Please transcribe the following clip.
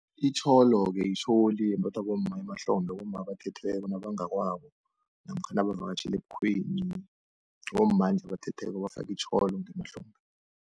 Itjholo-ke itjholi yembathwa bomma emahlombe bomma abathethweko nabangakwabo, namkha nabavakatjhele ebukhweni. Bomma nje abathetheko abafaka itjholo ngemahlombe.